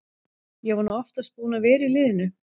Ég er nú oftast búinn að vera í liðinu.